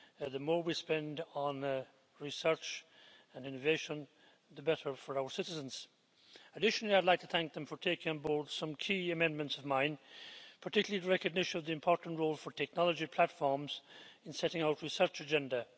The more we spend on research and innovation the better for our citizens. Additionally, I'd like to thank them for taking on board some key amendments of mine, particularly the recognition of the important role for technology platforms in setting out the research agenda.